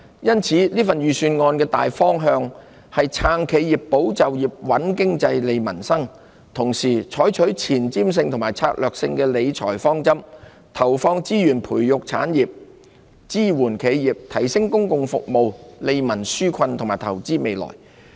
因此，這份預算案的大方向是"撐企業、保就業、穩經濟、利民生"，同時採取具前瞻性和策略性的理財方針，投放資源培育產業、支援企業、提升公共服務、利民紓困和投資未來。